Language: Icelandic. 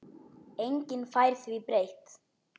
Enginn fær því breytt.